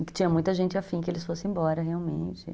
E que tinha muita gente afim que eles fossem embora, realmente.